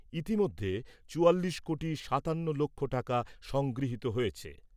ইতিমধ্যে চুয়াল্লিশ কোটি সাতান্ন লক্ষ টাকা সংগৃহীত হয়েছে।